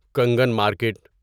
Kangan market